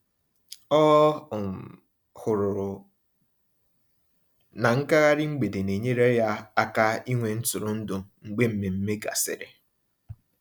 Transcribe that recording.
Ọ um hụrụ na ngaghari mgbede na-enyere ya aka ịnwe ntụrụndụ mgbe mmemme gasịrị.